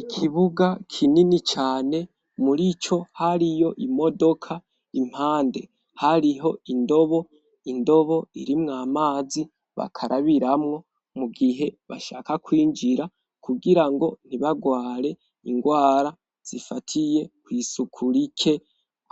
Ikibuga kinini cane muri co hariyo imodoka impande hariho indobo indobo irimw amazi bakarabiramwo mu gihe bashaka kwinjira kugira ngo ntibagware ingwara zifatiye ku isuku rike